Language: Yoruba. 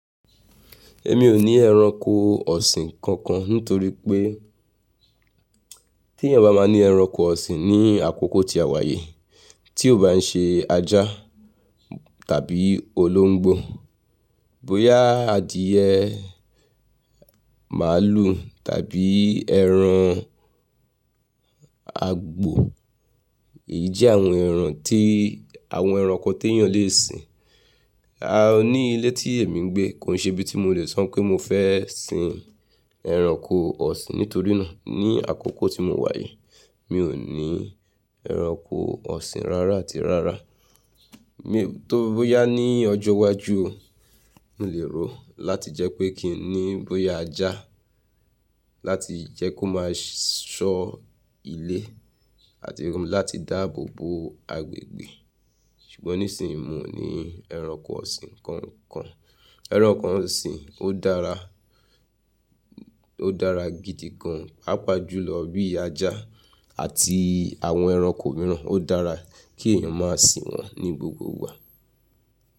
Èmi ò ní ẹranko ọ̀sìn kankan nítorí pé tí èèyàn bá máa ní ẹranko ọ̀sìn ní àkókò tí a wáyi tí ò bá ń ṣe ajá tàbí olóńgbò, bóyá adìyẹ, màlúù tàbí ẹran àgbò, èyí jẹ́ àwọn ẹranko tí èèyàn lè sin. A ní ilé tí èmi ń gbé kò ń ṣe ibi tí mo lè sọ pé mo fẹ́ sin ẹranko ọ̀sìn nítorí náà ní àkókò tí mo wáyi mi ò ní ẹranko ọ̀sìn rárá àti rárá. Tó o bóyá ní ọjọ́ iwájú mi lè rò ó láti jẹ́ pé kí n ní bóyá ajá láti jẹ́ kó máa ṣọ́ ilé àti láti dáàbò bo agbègbè ṣùgbọ́n nísìínyi mí ò ní ẹranko ọ̀sìn kankan. Ẹranko ọ̀sìn ó dára, ó dára gidi gan papajù lọ bí ajá àti àwọn ẹranko mìíràn ó dára kí èèyàn máa sìn wọ́n ní gbogbo ìgbà.